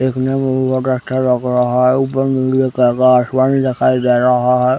देखने में बहोत अच्छा लग रहा है ऊपर नीले कलर का आसमान दिखाई दे रहा हैं ।